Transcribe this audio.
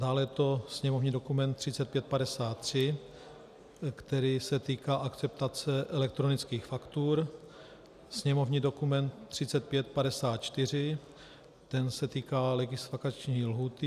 Dále je to sněmovní dokument 3553, který se týká akceptace elektronických faktur, sněmovní dokument 3554 - ten se týká legisvakační lhůty.